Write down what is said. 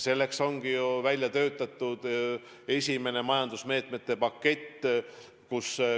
Selleks ongi ju välja töötatud esimene majandusmeetmete pakett.